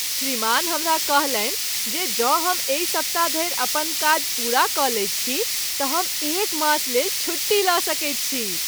श्रीमान हमरा कहलनि जे जौं हम एहि सप्ताह धरि अपन काज पूरा कऽ लैत छी तऽ हम एक मास लेल छुट्टी लऽ सकैत छी!